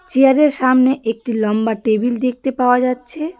Chair -এর সামনে একটি লম্বা টেবিল দেখতে পাওয়া যাচ্ছে।